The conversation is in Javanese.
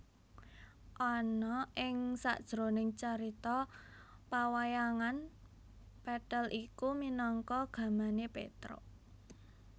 Ana ing sajroning carita pawayangan pethèl iku minangka gamané Pétruk